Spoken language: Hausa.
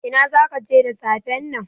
Ina zaka je da safen nan?